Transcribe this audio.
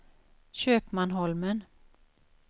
Köpmanholmen